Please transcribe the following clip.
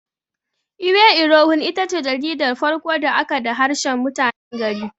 Iwe irohin itace jaridar farko da aka da harshen mutanen gari.